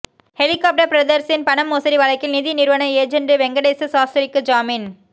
helicopter பிரதர்ஸின் பண மோசடி வழக்கில் நிதி நிறுவன ஏஜென்ட் வெங்கடேச சாஸ்திரிக்கு ஜாமீன்